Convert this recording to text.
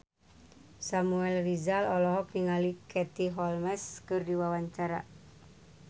Samuel Rizal olohok ningali Katie Holmes keur diwawancara